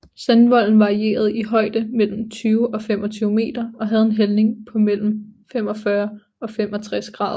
Sandvolden varierede i højde mellem 20 og 25 meter og havde en hældning på mellem 45 og 65 grader